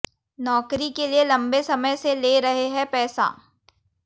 नौकरी के लिए लम्बे समय से ले रहे हैं पैसा